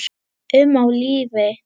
um á lífi.